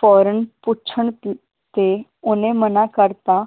ਫੌਰਨ ਪੁੱਛਣ ਤ ਤੇ ਓਹਨੇ ਮਨਾ ਕਰਤਾ